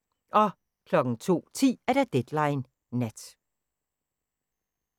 02:10: Deadline Nat